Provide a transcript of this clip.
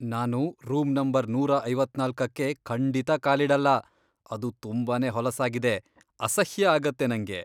ನಾನು room number ನೂರಾ ಐವತ್ನಾಲ್ಕಕ್ಕೆ ಖಂಡಿತ ಕಾಲಿಡಲ್ಲ, ಅದು ತುಂಬಾನೇ ಹೊಲಸಾಗಿದೆ.. ಅಸಹ್ಯ ಆಗತ್ತೆ ನಂಗೆ.